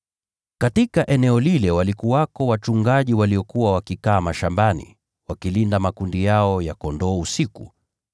Katika eneo lile walikuwako wachungaji waliokuwa wakikaa mashambani, wakilinda makundi yao ya kondoo usiku.